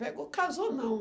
Pegou, casou, não.